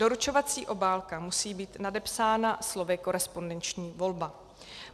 Doručovací obálka musí být nadepsána slovy Korespondenční volba.